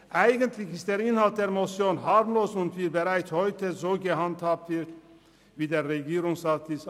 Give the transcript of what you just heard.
Eigentlich ist der Inhalt der Motion harmlos und bereits umgesetzt.